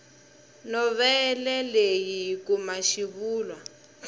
novhele leyi hi kuma xivulwa